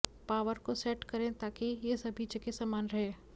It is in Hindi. पावर को सेट करें ताकि यह सभी जगह समान रहे